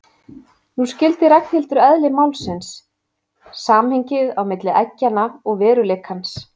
Nú skildi Ragnhildur eðli málsins, samhengið á milli eggjanna og veruleikans.